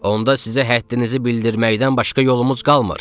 Onda sizə həddinizi bildirməkdən başqa yolumuz qalmır.